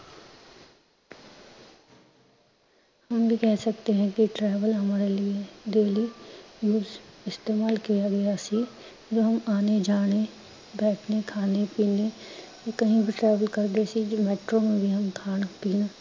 ਹਮ ਏ ਕਹਿ ਸਕਤੇ ਹੈਂ ਕਿ travel ਹਮਾਰੇ ਲਿਏ daily ਇਸਤੇਮਾਲ ਕੀਆ ਗਿਆ ਸੀ, ਜੋ ਹਮ ਆਣੇ ਜਾਣੇ ਬੈਠਨੇ ਖਾਨੇ ਪੀਨੇ, ਕਹੀ ਵੀ travel ਕਰਦੇ ਸੀ ਖਾਣ ਪੀਣ